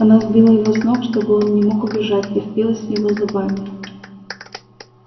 она сбила его с ног чтобы он не мог убежать и впилась в него зубами